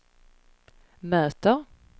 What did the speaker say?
möter